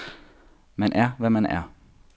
Man er, hvad man er.